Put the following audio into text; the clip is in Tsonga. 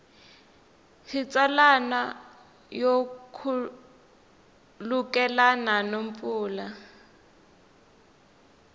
xitsalwana yo khulukelana no pfumala